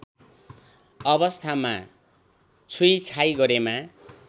अवस्थामा छुइछाइ गरेमा